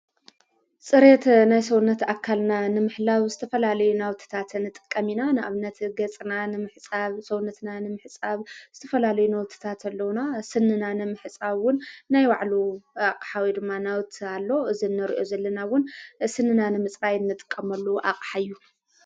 ጽሬት ናይ ሰውነት ኣካልና ንምሕላው ዝተፈላልዩ ናውትታትን ጥቀሚና ንኣብነቲ ገጽና ንምሕፃብ ሰውነትና ንምሕጻብ ዝተፈላልዩ ናውትታትኣለዉና ስንና ንምሕጻውን ናይ ዋዕሉ ኣቕሓዊ ድማናውት ኣሎ እዝነርዮ ዘለናውን ስንና ንምጽራ ይኒጥቀመሉ ኣቕሓ እዩ።